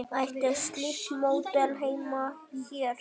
Ætti slíkt módel heima hér?